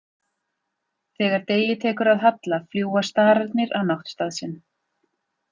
Þegar degi tekur að halla fljúga stararnir á náttstað sinn.